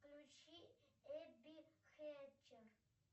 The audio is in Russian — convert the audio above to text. включи эбби хэтчер